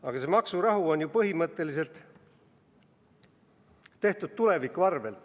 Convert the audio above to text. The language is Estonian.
Aga see maksurahu on ju põhimõtteliselt tehtud tuleviku arvel.